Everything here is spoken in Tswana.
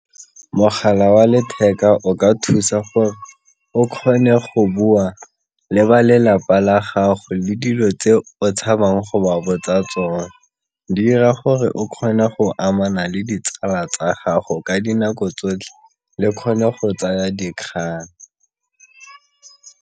Mogala wa letheka o ka thusa gore o kgone go bua le ba lelapa la gago dilo tse o tshabang go ba botsa tsone, di ira gore o kgone go amana le ditsala tsa gago ka dinako tsotlhe le kgone go tsaya dikgang.